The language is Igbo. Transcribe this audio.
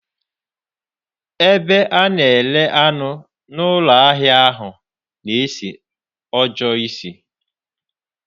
Ebe a na-ere anụ n'ụlọ ahịa ahụ na-esi ọjọọ ísì.